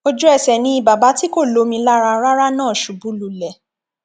ojúẹsẹ ni bàbá tí kò lómi lára rárá náà ṣubú lulẹ